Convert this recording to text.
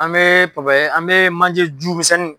An bɛ an bɛ manje ju misɛnni